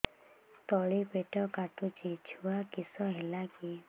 ତଳିପେଟ କାଟୁଚି ଛୁଆ କିଶ ହେଲା କି